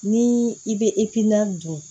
Ni i bɛ don